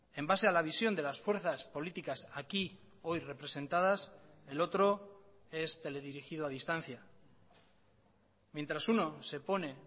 en base a la visión de las fuerzas políticas aquí hoy representadas el otro es teledirigido a distancia mientras uno se pone